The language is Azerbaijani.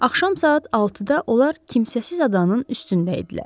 Axşam saat 6-da onlar kimsəsiz adanın üstündə idilər.